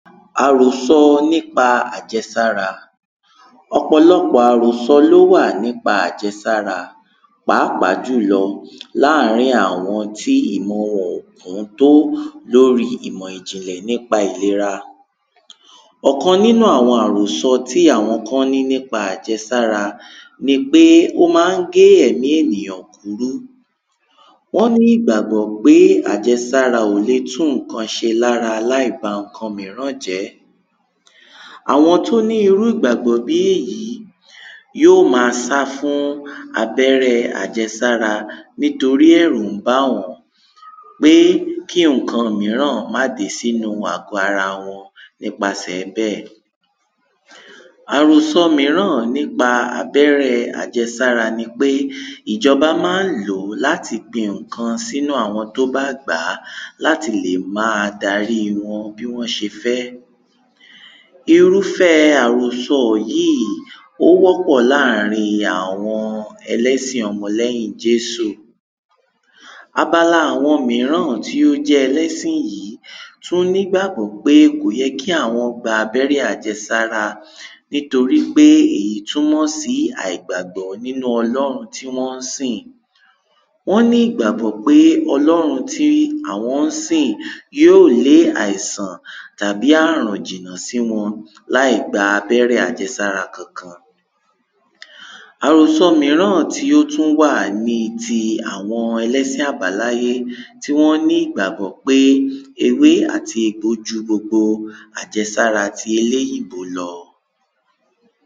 àròsọ nípa àjẹsára. ọ̀pọ̀lọpọ̀ àròsọ ló wà nípa àjẹsára, pàápàá jùlọ láàrín àwọn tí ìmọ wọn ò kún tó lóri ìmọ̀ ìjìnlẹ̀ nípa ìlera. ọ̀kan nínú àwọn àròsọ tí àwọn kán ní nípa àjẹsára ní pé ó ma ń gbé ẹ̀mí ènìyàn kúrú. wọ́n ní ìgbàgbọ́ pé àjẹsára ò le tún ǹkan ṣe lára láìba ǹkan míràn jẹ́. àwọn tó ní irú ìgbàgbọ́ bí èyí yíò ma sá fún abẹ́rẹ àjẹsára, nítorí ẹ̀rú ńbà wọ́n pé kí ǹkan míràn má dé sínu àgbọ́-ara wọn nípasẹ̀ẹ bẹ́ẹ̀. àròsọ míràn nípa abẹ́rẹ àjẹsára ni pé ìjọ́bá mán lòó láti gbin ǹkan sínú àwọn tó bá gbàá, láti lè máa darí wọn bí wọ́n ṣe fẹ́. irúfẹ́ẹ àròsọ yìí ó wọ́pọ̀ láàrin àwọn ẹlẹ́sìn ọmọ lẹ́yìn jésù. abala àwọn míràn tí ó jẹ́ ẹlẹ́sìn yìí tún nígbàgbọ́ pé kòyẹ kí àwọ́n gba abẹ́rẹ́ àjẹsára, nítorí pé èyí túnmọ̀ sí àìgbàgbọ́ nínú ọlọ́hun tí wọ́n sìn. wọ́n ní ìgbàgbọ́ pé ọlọ́run tí àwọ́n sìn yíò lé àìsàn tàbí àrùn jìnà sí wọn láìgba abẹ́rẹ́ àjẹsára kankan. àròsọ míràn tí ó tún wà ni ti àwọn ẹlẹ́sìn àbáláyé, tí wọ́n ní ìgbàgbọ́ pé ewé àti egbò ju gbogbo àjẹsára ti eléyìbó lọ.